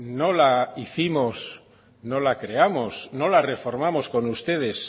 no la hicimos no la creamos no la reformamos con ustedes